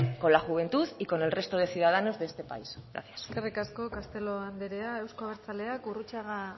con la juventud y con el resto de ciudadanos de este país gracias eskerrik asko castelo anderea euzko abertzaleak gurrutxaga